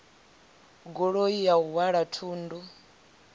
goloi ya u halwa thundu